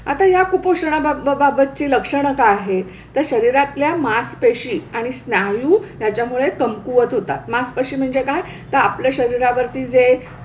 आता ह्या कुपोषणाबाब बाबतची लक्षणं काय आहेत, तर शरीरातल्या मासपेशी आणि स्नायू ह्याच्यामुळे कमकुवत होतात. मासपेशी म्हणजे काय तर आपल्या शरीरावरती जे,